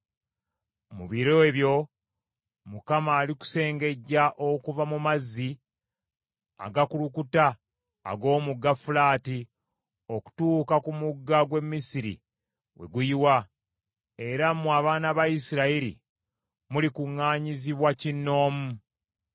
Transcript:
Mu biro ebyo Mukama alikusengejja okuva mu mazzi agakulukuta ag’Omugga Fulaati okutuuka ku mugga gw’e Misiri we guyiwa, era mmwe abaana ba Isirayiri mulikuŋŋaanyizibwa kinnoomu.